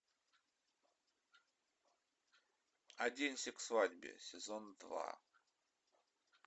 оденься к свадьбе сезон два